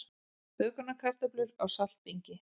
Bökunarkartöflur á saltbingi